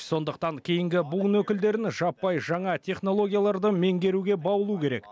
сондықтан кейінгі буын өкілдерін жаппай жаңа технологияларды меңгеруге баулу керек